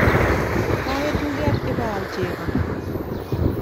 Kawe tuget ipaal chego